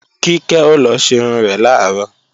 Kíkẹ́ ó lọ ṣerun rẹ̀ làárọ̀